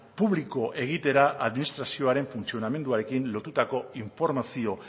publiko egitera administrazioaren funtzionamenduarekin lotutako informazio